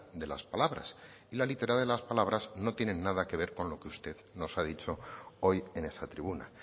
de las palabras y la literalidad de las palabras no tiene nada que ver con lo que usted nos ha dicho hoy en esta tribuna